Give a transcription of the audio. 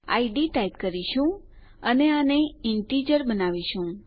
ID type કરીશું અને આને ઇન્ટેજર પૂર્ણાંક બનાવીશું